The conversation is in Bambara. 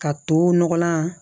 Ka to nɔgɔlan